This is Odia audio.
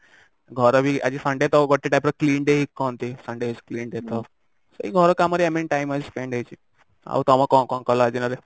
ଘର ବି ଆଜି sunday ତ ଗୋଟେ type ର clean day ହିଁ କହନ୍ତି sunday is a clean day ତ ହଁ ସେଇ ଘର କାମରେ ମାନେ time spend ହେଇଛି ଆଉ ତମେ କଣ କଣ କଲ ଆଜିର ଦିନରେ